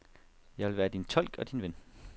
Jeg vil være din tolk og din ven.